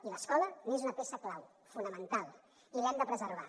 i l’escola n’és una peça clau fonamental i l’hem de preservar